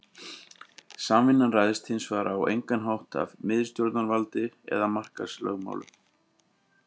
Samvinnan ræðst hins vegar á engan hátt af miðstjórnarvaldi eða markaðslögmálum.